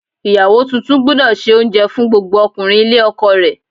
Ìyàwó tuntun gbúdọ̀ se oúnjẹ fún gbogbo ọkùnrin ilé ọkọ rẹ̀.